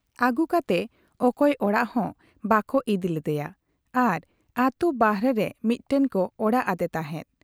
ᱟᱹᱜᱩ ᱠᱟᱛᱮ ᱚᱠᱚᱭ ᱚᱲᱟᱜ ᱦᱚᱸ ᱵᱟᱠᱚ ᱤᱫᱤ ᱞᱮᱫᱭᱟ ᱟᱨ ᱟᱹᱛᱩ ᱵᱟᱦᱨᱮᱨᱮ ᱢᱤᱫᱴᱟᱝ ᱠᱚ ᱚᱲᱟᱜ ᱟᱫᱮ ᱛᱟᱦᱮᱸᱫ ᱾